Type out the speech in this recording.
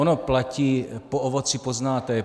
Ono platí po ovoci poznáte je.